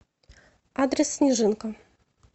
адрес снежинка